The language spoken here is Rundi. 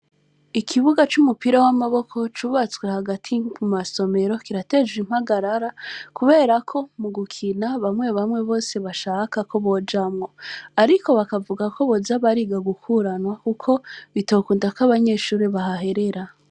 ikibuga c'umupira w'amaboko cubatswe hagati mu masomero kirateje impagarara kubera ko mu gukina bamwe bamwe bose bashaka ko bojamwo ariko bakavuga ko boza bariga gukuranwa kuko bitokunda ko abanyeshure bahaherera.